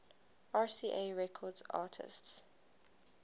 rca records artists